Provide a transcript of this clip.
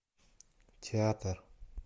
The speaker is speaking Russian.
театр